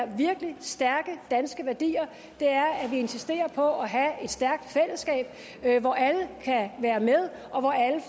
virkelig stærke danske værdier er at vi insisterer på at have et stærkt fællesskab hvor alle kan være med og